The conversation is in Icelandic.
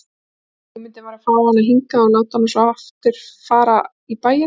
Hugmyndin var að fá hana hingað og láta hana svo fara í bæinn aftur.